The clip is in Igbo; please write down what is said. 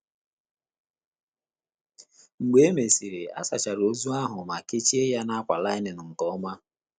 Mgbe e mesịrị, a sachara ozu ahụ ma kechie ya n’ákwà lainin nke ọma.